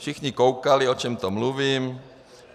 Všichni koukali, o čem to mluvím. .